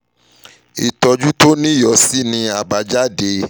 ìtọ́jú tó o ní yóò sinmi lórí àbájáde